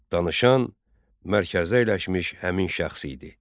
Danışan mərkəzdə əyləşmiş həmin şəxs idi.